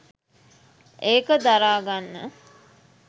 ඒක දරාගන්න